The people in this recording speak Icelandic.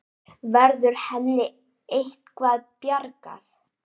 Verður henni eitthvað bjargað?